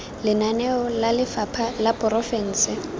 lenaneo la lefapha la diporofense